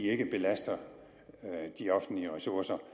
ikke belaster de offentlige ressourcer og